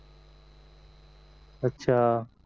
अच्छा